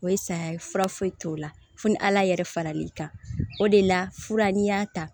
O ye saya ye fura foyi t'o la fo ni ala yɛrɛ faral'i kan o de la fura n'i y'a ta